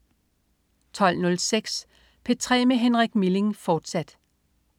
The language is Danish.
12.06 P3 med Henrik Milling, fortsat